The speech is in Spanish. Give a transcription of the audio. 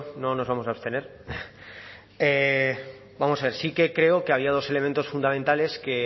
no nos vamos a abstener vamos a ver sí que creo que había dos elementos fundamentales que